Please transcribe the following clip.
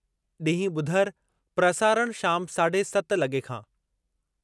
ॾींहुं ॿुधरु प्रसारणु शाम साढे सत लॻे खां